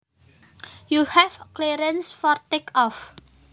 You have clearance for take off